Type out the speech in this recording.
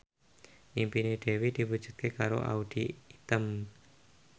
impine Dewi diwujudke karo Audy Item